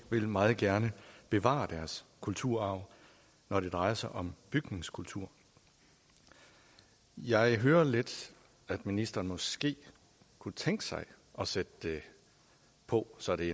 vil meget gerne bevare deres kulturarv når det drejer sig om bygningskultur jeg hører lidt at ministeren måske kunne tænke sig at sætte det på så det